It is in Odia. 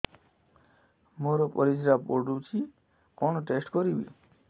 ମୋର ପରିସ୍ରା ପୋଡୁଛି କଣ ଟେଷ୍ଟ କରିବି